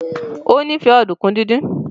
o nife Ọ̀dùnkún dín dín.